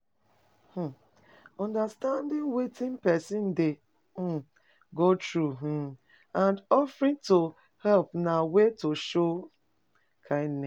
um Understanding wetin persin de um go through um and offering to help na way to show kindness